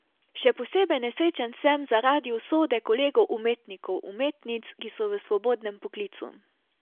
Še posebej nesrečen sem zaradi usode kolegov umetnikov, umetnic, ki so v svobodnem poklicu.